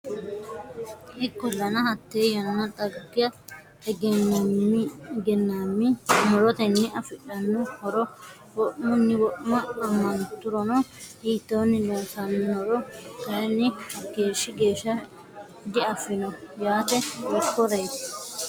Ikkollana, hatte yanna xagga egennaammi mu’rotenni afidhanno horo wo’munni wo’ma ammanturono hiittoonni loossannoro kayinni hakkeeshshi geesh sha diaffino yaate, hiikkoreeti?